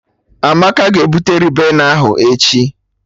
Amaka ga-ebute Ribena ahụ echi